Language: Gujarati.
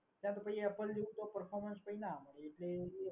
આપણે apple જેવુ performance તો ક્યાંય ના મળે